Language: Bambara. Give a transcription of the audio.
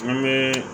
N bɛ